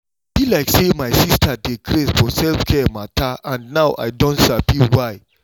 e be like say my sister dey craze for self-care matter and now i don sabi why.